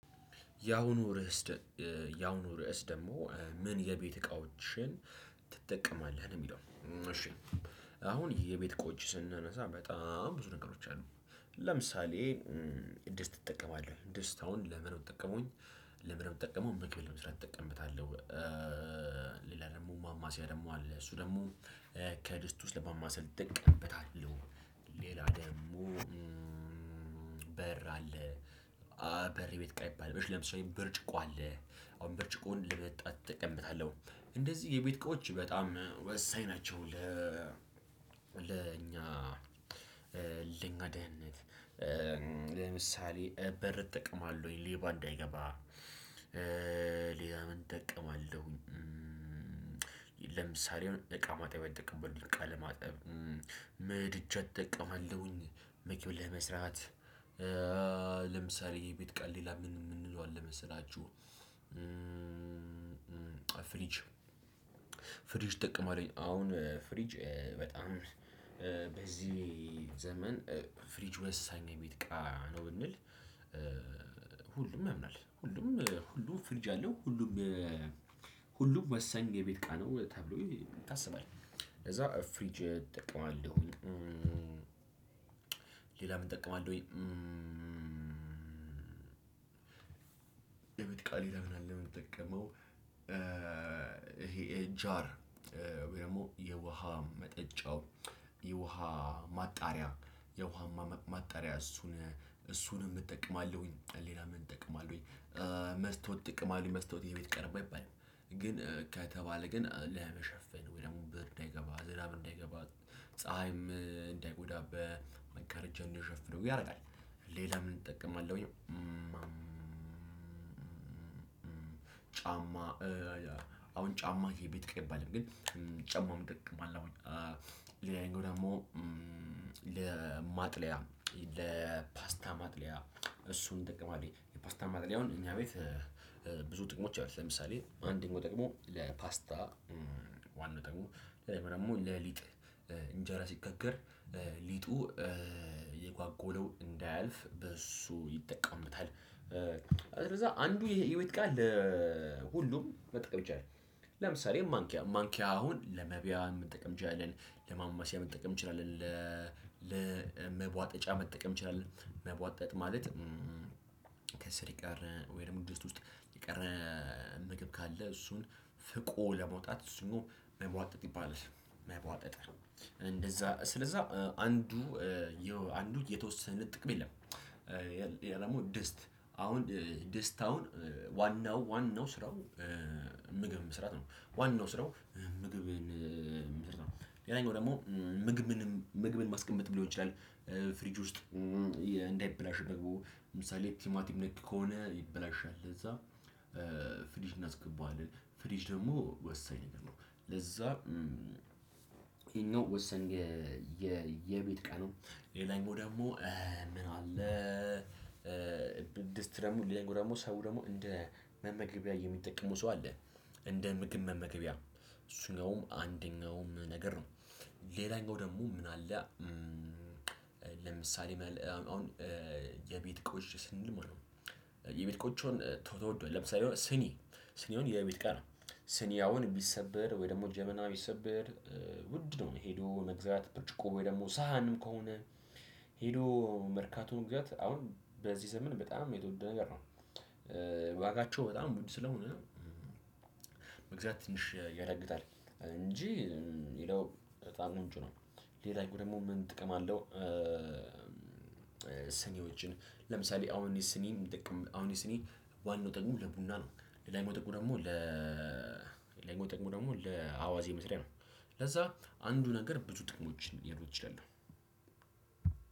ያሁኑ ርዕስ ደግሞ ምን የቤት እቃዎችን ትጠቀማለህ ነው የሚለው? እሺ አሁን የቤት እቃዎችን ስናነሳ በጣም ብዙ ነገሮች አሉ። ለምሳሌ ድስት እጠቀማለሁኝ ድስት አሁን ለምን ነው የምጠቀመው? ለምን ነው የምጠቀመው ምግብ ለመስራት እጠቀምብታለሁ። ሌላ ደግሞ ማማሰያ ደግሞ አለ እሱ ደግሞ ከድስት ውስጥ ለማማሰል እጠቀምበታለሁ። ሌላ ደግሞ በር አለ። በር ቤት እቃ ይባል ብርጭቆ አለ። አሁን ብርጭቆውን ለመጠጣት እጠቀምበታለሁ እንደዚህ የቤት እቃዎች በጣም ወሳኝ ናቸው። ለ ለእኛ ለእኛ ደህንነት ለምሳሌ በር እጠቀማለሁኝ ሌባ እንዳይገባ። ሌላ ምን እጠቀማለሁኝ? ለምሳሌ እቃ ማጠብያ አይጠቀምም እቃ ለማጠብ ምድጃን እጠቀማለሁኝ። ምግብ ለመስራት ለምሳሌ የቤት እቃ ሌላ ምን የምንለው አለ መሰላችሁ? ፍሪጅ ፍሪጅ እጠቀማለሁኝ አሁን ፍሪጅ በጣም በዚህ ዘመን ፍሪጅ ወሳኝ የቤት እቃ ነው ብንል። ሁሉም ያምናል ሁሉም ሁሉ ፍሪጅ አለው ሁሉም ሁሉም ወሳኝ የቤት እቃ ነው ተብሎ ይታሰባል። ከዛ ፍሪጅ እጠቀማለሁ። ሌላ ምን እጠቀማለሁኝ? የቤት እቃ ሌላ አለ የምጠቀመው። ይሄ ጃር ወይ ደግሞ የውሃ መጠጫው የውሃ ማጣሪያ የውሃ ማጣሪያ እሱን እሱንም እጠቀማለሁኝ። ሌላ ምን እጠቀማለሁኝ? መስታወት እጠቀማለሁኝ መስታወት የቤት እቃ ነው ባይባልም ግን ከተባለ ግን ለመሸፈን ወይ ደግሞ ብርድ እንዳይገባ ዝናብ እንዳይገባ ፀሀይም እንዳይጎዳ በመጋረጃ እንድንሸፍነው ያደርጋል። ሌላ ምን እጠቀማለሁኝ? ጫማ አሁን ጫማ የቤት እቃ አይባልም ግን ጫማ እጠቀማለሁኝ። ሌላኛው ደግሞ ለማጥለያ ለፓስታ ማጥለያ እሱን እጠቀማለሁኝ። የፓስታ ማጥለያውን እኛ ቤት ብዙ ጥቅሞች አሉት ለምሳሌ አንደኛው ጥቅሙ ለፓስታ ዋና ጥቅሙ ወይም ደግሞ ለሊጥ እንጀራ ሲጋገር ሊጡ የጓጎለው እንዳያልፍ በሱ ይጠቀሙበታል። ከዛ አንዱ ይሄ የቤት እቃ ለሁሉም መጠቀም ይቻላል። ለምሳሌ ማንኪያ ማንኪያ አሁን ለመብያ መጠቀም እንችላለን። ለማማሰያ መጠቀም እንችላለን ለመቧጠጫ መጠቀም እንችላለን። መቧጠጥ ማለት ከስር ይቀር ወይ ደግሞ ድስት ውስጥ የቀረ ምግብ ካለ እሱን ፍቆ ለመውጣት እሱን መሟጠጥ ይባላል። መሟጠጥ እንደዛ ስለዛ አንዱ አንዱ የተወሰነ ጥቅም የለም። ደግሞ ደስት አሁን ደስት አሁን ዋናው ዋናው ስራው ምግብ መስራት ነው። ዋናው ስራው ምግብን መስራት ነው። ሌላኛው ደግሞ ምግብንም ምግብንም ማስቀመጥም ሊሆን ይችላል። ፍሪጅ ውስጥ እንዳይበላሽ ደግሞ ለምሳሌ ቲማቲም ነክ ከሆነ ይበላሻል ለዛ ፍሪጅ እናስገባዋለን። ፍሪጅ ደግሞ ወሳኝ ነው። ለዛ ይሄኛው ወሳኝ የቤት እቃ ነው። ሌላኛው ደግሞ ምን አለ? ድስት ደግሞ ሌላኛው ደግሞ ሰው ደግሞ እንደ መመግቢያ የሚጠቀሙ ሰው አለ። እንደ ምግብ መመገቢያ እሱኛውም አንደኛውም ነገር ነው። ሌላኛው ደግሞ ምን አለ? ለምሳሌ አሁን የቤት እቃዎች ስንል ማለት ነው። የቤት እቃዎች አሁን ተወዷል ለምሳሌ ስኒ ስኒ አሁን የቤት እቃ ነው። ስኒ አሁን ቢሰበር ወይ ደግሞ ጀበና ቢሰበር። ውድ ነው ሄዶ መግዛት ብርጭቆ ወይ ደግሞ ሳሀንም ከሆነ ሄዶ መርካቶ መግዛት አሁን በዚህ ዘመን በጣም የተወደደ ነገር ነው። ዋጋቸው በጣም ውድ ስለሆነ መግዛት ትንሽ ያዳግታል እንጂ ሌላው በጣም ነው እንጩ ነው ሌላኛው ደግሞ ምን ጥቅም አለው? ስኒዎችን ለምሳሌ አሁን እኔ ስኒ የምጠቀም አሁን የሲኒ ዋናው ጥቅሙ ለቡና ነው። ለላኛው ጥቅሙ ደግሞ ለላኛው ጥቅሙ ደግሞ ለአዋዜ መስሪያ ነው። ለዛ አንዱ ነገር ብዙ ጥቅሞችን ሊሄዱ ይችላሉ።